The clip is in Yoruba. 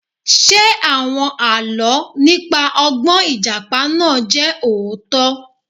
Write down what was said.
Ṣé àwọn Àlọ́ nípa ọgbọ́n Ìjàpá náà jẹ́ òótọ́?